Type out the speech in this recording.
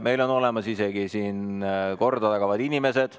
Meil on siin isegi olemas korda tagavad inimesed.